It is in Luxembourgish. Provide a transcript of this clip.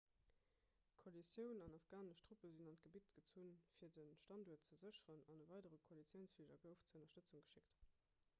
d'koalitioun an afghanesch truppen sinn an d'gebitt gezunn fir de standuert ze sécheren an e weidere koalitiounsfliger gouf zur ënnerstëtzung geschéckt